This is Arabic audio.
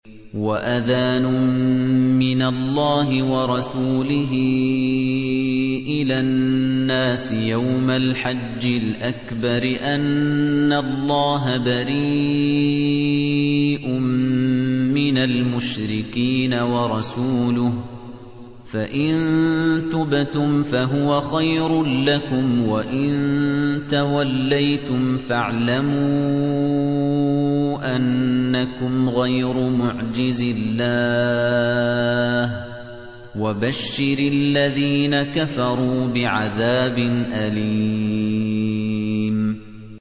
وَأَذَانٌ مِّنَ اللَّهِ وَرَسُولِهِ إِلَى النَّاسِ يَوْمَ الْحَجِّ الْأَكْبَرِ أَنَّ اللَّهَ بَرِيءٌ مِّنَ الْمُشْرِكِينَ ۙ وَرَسُولُهُ ۚ فَإِن تُبْتُمْ فَهُوَ خَيْرٌ لَّكُمْ ۖ وَإِن تَوَلَّيْتُمْ فَاعْلَمُوا أَنَّكُمْ غَيْرُ مُعْجِزِي اللَّهِ ۗ وَبَشِّرِ الَّذِينَ كَفَرُوا بِعَذَابٍ أَلِيمٍ